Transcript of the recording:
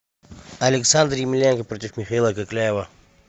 александр емельяненко против михаила кокляева